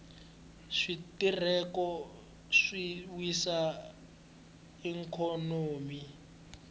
switereko swi wisa ikhonomi